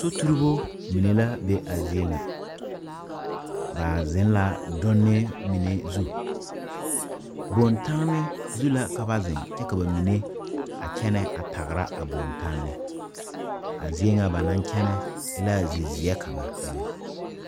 Soturibo mine la be a zie ŋa ba zeŋ la donne mine zu bontanne zu la ka ba zeŋ kyɛ ka ba mine a kyɛne a tagra a bontanne a zie ŋa ba naŋ kyɛnɛ e la zizeɛ kaŋa eŋɛ.